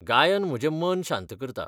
गायन म्हजें मन शांत करता.